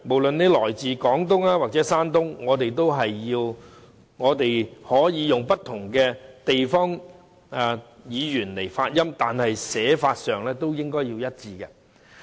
來自廣東和山東的人士，可以使用不同的方言和發音，但書寫的文字卻應該一致。